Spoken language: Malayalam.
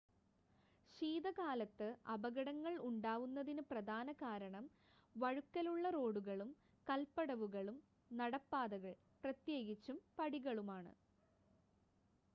ശീതകാലത്ത് അപകടങ്ങൾ ഉണ്ടാവുന്നതിന് പ്രധാനകാരണം വഴുക്കലുള്ള റോഡുകളും കൽപടവുകളും നടപ്പാതകൾ പ്രത്യേകിച്ചും പടികളുമാണ്